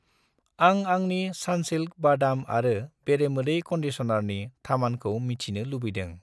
आं आंनि सान्सिल्क बादाम आरो बेरेमोदै कन्डिसनारनि थामानखौ मिथिनो लुबैदों